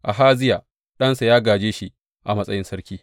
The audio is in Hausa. Ahaziya ɗansa ya gāje shi a matsayin sarki.